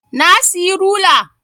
Na siyi rula